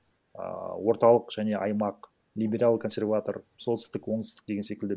ыыы орталық және аймақ либерал консерватор солтүстік оңтүстік деген секілді